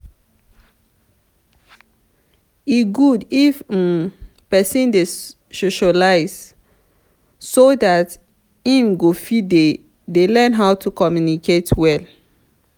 e dey good if um person dey socialise so dat im go fit dey learn how to communicate well